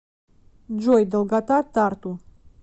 джой долгота тарту